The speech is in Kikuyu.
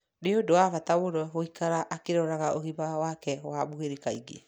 Nĩ ũndũ wa bata mũndũ gũikara akĩrora ũgima wake wa mwĩrĩ kaingĩ.